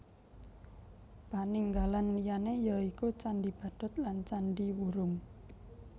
Paninggalan liyané ya iku Candhi Badut lan Candhi Wurung